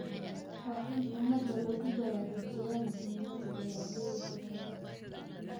Waa in ummadda lagu baraarujiyaa muhiimadda beeralaydu leedahay.